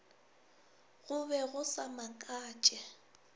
go be go sa makatše